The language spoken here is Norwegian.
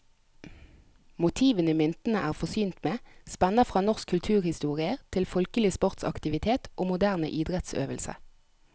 Motivene myntene er forsynt med, spenner fra norsk kulturhistorie til folkelig sportsaktivitet og moderne idrettsøvelse.